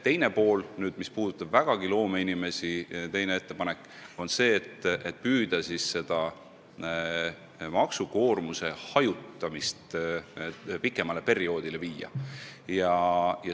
Teine ettepanek, mis puudutab vägagi loomeinimesi, on see, et püüda siis seda maksukoormuse hajutamist pikemale perioodile viia.